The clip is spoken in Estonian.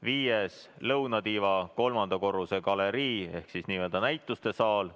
Viies on lõunatiiva kolmanda korruse galerii ehk näitusesaal.